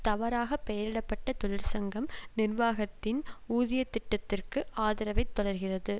தவறாக பெயரிட பட்ட தொழிற்சங்கம் நிர்வாகத்தின் ஊதியத்திட்டத்திற்கு ஆதரவை தொடர்கிறது